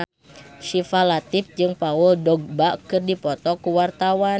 Syifa Latief jeung Paul Dogba keur dipoto ku wartawan